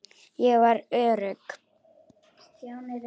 Ég var örugg.